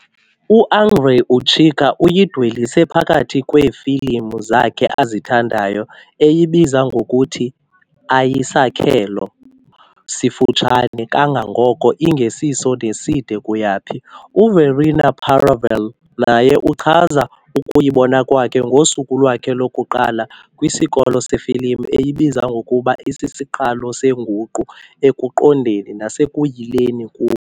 UAndrei Ujică, uyidwelise phakathi kweefilim zakhe azithandayo, eyibiza ngokuthi "Ayisakhelo sifutshane kangako, ingesiso neside kuyaphi", U-Verena Paravel naye uchaza ukuyibona kwakhe ngosuku lwakhe lokuqala kwisikolo sefilim, eyibiza ngokuba "isisiqalo senguqu ekuqondeni nasekuyileni kum."